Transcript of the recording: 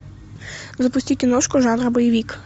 запусти киношку жанра боевик